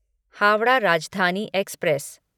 Howrah Rajdhani express